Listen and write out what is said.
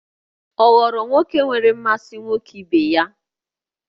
Ọ ghọrọ nwoke nwere mmasị nwoke ibe ya?